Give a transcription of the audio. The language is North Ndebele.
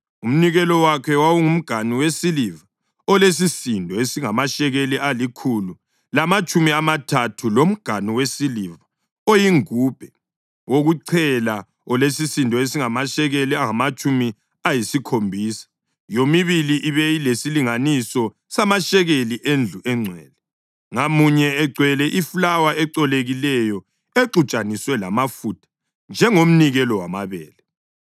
Umnikelo wakhe: wawungumganu wesiliva olesisindo esingamashekeli alikhulu lamatshumi amathathu, lomganu wesiliva oyingubhe wokuchela olesisindo esingamashekeli angamatshumi ayisikhombisa, yomibili ibe lesilinganiso samashekeli endlu engcwele, ngamunye ugcwele ifulawa ecolekileyo exutshaniswe lamafutha njengomnikelo wamabele;